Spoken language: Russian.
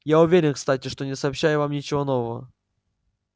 я уверен кстати что не сообщаю вам ничего нового